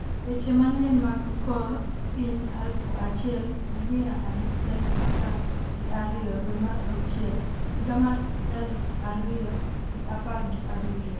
weche manyien mag kor piny aluf achiel gi miya abich tarik apar gi ariyo dwe mar auchiel higa mar aluf ariyo gi apar gi abiriyo